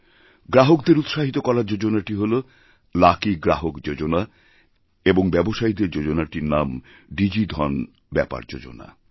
গ্রাহকদের উৎসাহিত করার যোজনাটিহল লাকি গ্রাহক যোজনা এবং ব্যবসায়ীদের যোজনাটির নাম ডিজিধন ব্যাপারযোজনা